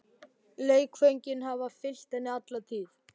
Leikföngin hafa fylgt henni alla tíð.